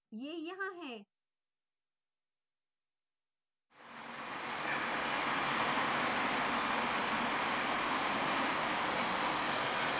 यह यहाँ है